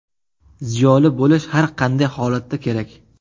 Ziyoli bo‘lish har qanday holatda kerak.